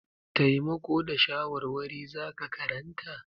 Taimako da shawarwari za ka karanta?